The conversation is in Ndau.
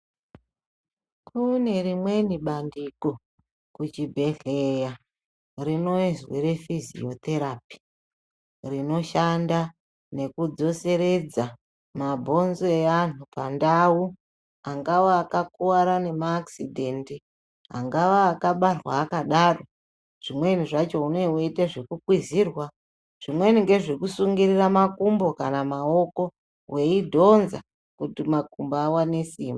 Kune rimweni bandiko kuchibhedhlera rinozwi refiziyo therapy rinoshanda nekudzoseredza mabhonzo eanhu pandau angawa akakuwara nemaakisidhendi, angava akabarwa akadaro zvimweni zvacho unee weiita zvekukwizirwa zvimweni ngezvekusungirira makumbo kana maoko weidhonza kuti makumbo awone simba.